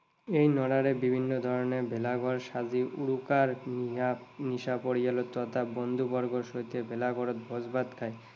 এই নৰাৰে বিভিন্ন ধৰণেৰে ভেলা ঘৰ সাজি উৰুকাৰ নিশা পৰিয়াল তথা বন্ধু বৰ্গৰ সৈতে ভেলা ঘৰত ভোজ ভাত খায়।